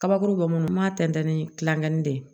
Kabakuru bɛ minnu b'a tɛntɛn ni kilangɛnin de ye